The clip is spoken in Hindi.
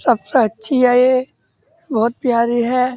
सबसे अच्छी है ये बोहोत प्यारी है।